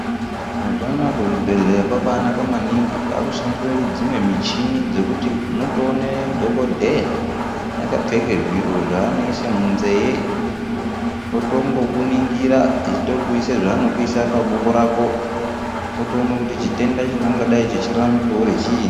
Mazuwa anaya kuzvibhehleya kwabanaka maningi kwakushandiswe dzimwe michini dzekuti unotoone dhokodheya akapfeke zviro zvanoise munzeye otongokuningira eitokuise zvanokuise paboko rako otoone kuti chitenda chingangadai chechirarame pauri chiini.